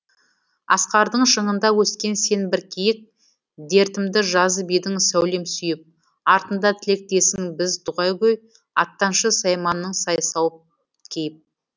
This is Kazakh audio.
асқардың шыңында өскен сен бір киік дертімді жазып едің сәулем сүйіп артында тілектесің біз дұғагөй аттаншы сайманың сай сауыт киіп